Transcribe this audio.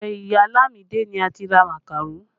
Ọdọ ìyá Lamide ni a ti ra màkàró